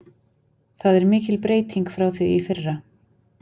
Það er mikil breyting frá því í fyrra.